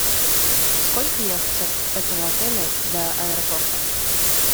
сколько ехать от этого отеля до аэропорта